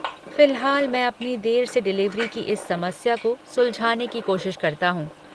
फ़िलहाल, मैं अपनी देर से डिलीवरी की इस समस्या को सुलझाने की कोशिश करता हूँ।